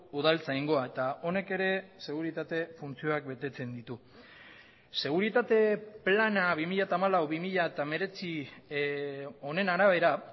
udaltzaingoa eta honek ere seguritate funtzioak betetzen ditu seguritate plana bi mila hamalau bi mila hemeretzi honen arabera